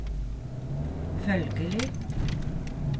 følgelig